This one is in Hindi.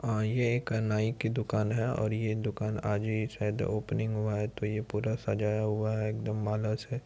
अ ये एक नाई की दुकान है और ये दुकान आज ही शायद ओपनिंग हुआ है तो ये पूरा सजाया हुआ है एकदम माला से |